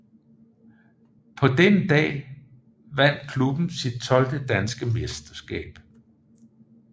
På denne dag vandt klubben sit tolvte danske mesterskab